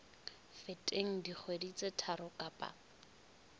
feteng dikgwedi tse tharo kapa